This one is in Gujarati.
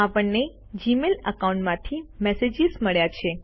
આપણને જીમેઇલ એકાઉન્ટથી મેસેજીસ મળ્યા છે